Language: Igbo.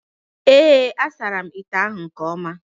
Ee, a sachara m ite ahụ nke ọma